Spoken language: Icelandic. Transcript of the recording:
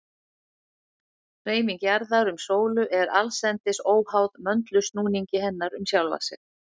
Hreyfing jarðar um sólu er allsendis óháð möndulsnúningi hennar um sjálfa sig.